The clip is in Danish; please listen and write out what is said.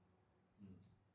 Hm